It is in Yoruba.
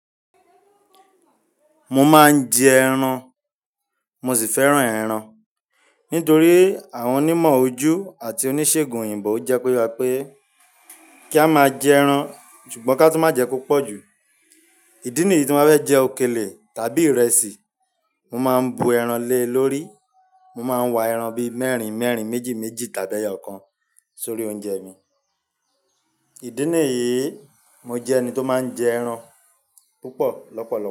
Mo máa ń jẹ ẹran, mo sì fẹ́ràn ẹran. Nítorí àwọn onímọ̀ ọjú àti oníṣègùn òyìnbó jẹ́ kó yẹ pé wá pé kí á máa jẹ ẹran, ṣùgbọ́n ká tú má jẹ púpọ̀ jù. Ìdí nìyí tí máa fé bá jẹ òkèlè tàbí ìrẹsì, mo máa ń bu ẹran lé lórí. Mo máa ń wa ẹran bí mẹ́rin mẹ́rin, méjì méjì tàbí ẹ̀yọ kan sórí oúnjẹ mi. Ìdí nìyí mo jẹ́ ẹni tó máa ń jẹ ẹran púpọ̀ lọ́pọ̀lọpọ̀